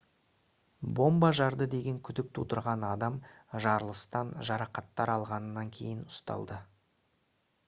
бомба жарды деген күдік тудырған адам жарылыстан жарақаттар алғаннан кейін ұсталды